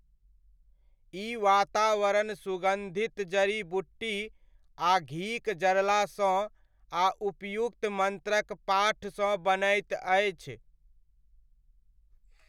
ई वातावरण सुगन्धित जड़ी बूटी आ घीक जरलासँ आ उपयुक्त मन्त्रक पाठसँ बनैत अछि।